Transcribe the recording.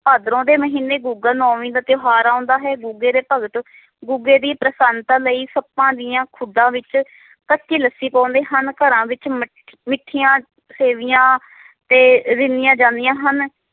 ਭਾਦਰੋਂ ਦੇ ਮਹੀਨੇ ਗੁਗਾ ਨਾਵਮੀ ਦਾ ਤਿਓਹਾਰ ਆਉਂਦਾ ਹੈ ਗੁਗੇ ਦੇ ਭਗਤ ਗੁਗੇ ਦੀ ਪ੍ਰਸੰਨਤਾ ਲਾਇ ਸਪਾਂ ਦੀਆਂ ਖੁਡਾਂ ਵਿਚ ਕੱਚੀ ਲੱਸੀ ਪਾਉਂਦੇ ਹਨ ਘਰਾਂ ਵਿਚ ਮਠ~ ਮਿਠੀਆਂ ਸੇਵੀਆਂ ਤੇ ਰਿਹਨੀਆਂ ਜਾਂਦੀਆਂ ਹਨ